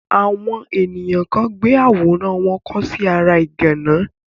àwọn èniyàn kan gbé àwòrán wọn kọ sí ara ìgànná.